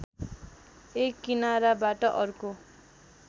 एक किनाराबाट अर्को